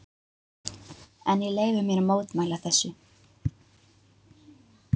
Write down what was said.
En ég leyfi mér að mótmæla þessu.